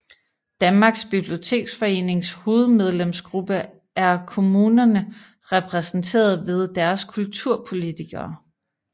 Danmarks Biblioteksforenings hovedmedlemsgruppe er kommunerne repræsenteret ved deres kulturpolitikere